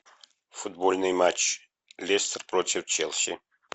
футбольный матч лестер против челси